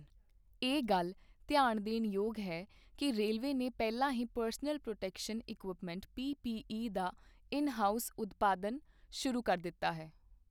ਇਹ ਗੱਲ ਧਿਆਨ ਦੇਣ ਯੋਗ ਹੈ ਕਿ ਰੇਲਵੇ ਨੇ ਪਹਿਲਾਂ ਹੀ ਪਰਸਨਲ ਪ੍ਰੋਟੈਕਸ਼ਨ ਇਕੁਇਪਮੈਂਟ ਪੀਪੀਈ ਦਾ ਇਨ ਹਾਊਸ ਉਤਪਾਦਨ ਸ਼ੁਰੂ ਕਰ ਦਿੱਤਾ ਹੈ।